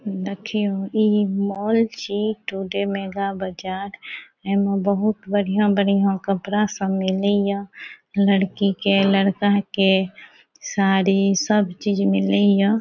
देखियों इ मॉल छी टुडे मेघा बाजार एमे बहुत बढ़िया-बढ़िया कपड़ा सब मिलेये लड़की के लड़का के साड़ी सब चीज मिलेये।